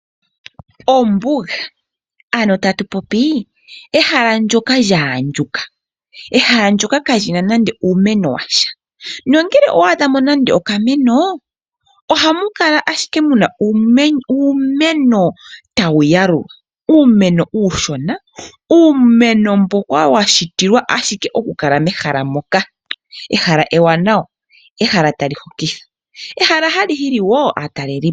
Ombuga ano tatupopi ehala ndjoka lya andjuka . Ehala ndjoka kalina nando uumeno washa nongele owa adhamo nande okameno ohamu kala ashike muna uumeno tawu yalulwa, uumeno uushona. Uumeno mboka washitilwa ashike okukala mehala moka ,ehala ewanawa ehala tali hokitha. Ehala hali hili woo aatalelipo